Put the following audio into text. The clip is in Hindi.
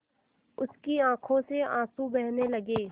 उसकी आँखों से आँसू बहने लगे